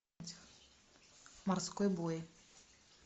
морской бой